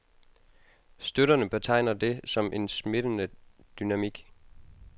Støtterne betegner det som en smittende dynamik.